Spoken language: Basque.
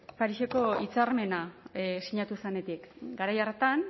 pariseko hitzarmena sinatu zenetik garai hartan